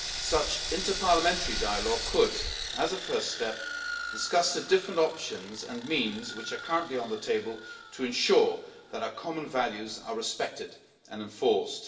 Such interparliamentary dialogue could, as a first step, discuss the various options and the means currently on the table to ensure that our common values are respected and enforced.